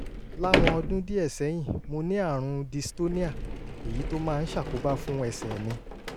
láwọn ọdún díẹ̀ sẹ́yìn mo ní àrùn dystonia èyí tó máa ń ṣàkóbá fún ẹsẹ̀ mi